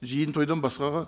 жиын тойдан басқаға